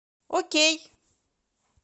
окей